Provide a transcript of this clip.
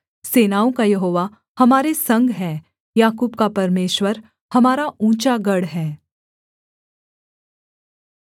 सेनाओं का यहोवा हमारे संग है याकूब का परमेश्वर हमारा ऊँचा गढ़ है सेला